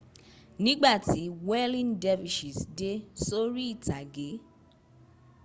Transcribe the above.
nígbà tí whirling dervishes dé sórí ìtàgé